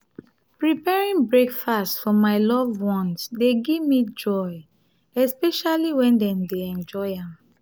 preparing breakfast for my loved ones dey gimme joy especially when dem dey enjoy am.